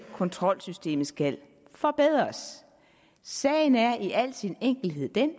kontrolsystemet skal forbedres sagen er i al sin enkelhed den